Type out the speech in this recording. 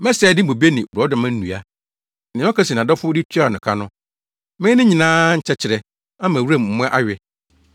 Mɛsɛe ne bobe ne borɔdɔma nnua, nea ɔka se nʼadɔfo de tuaa no ka no; mɛyɛ ne nyinaa nkyɛkyerɛ, ama wuram mmoa awe.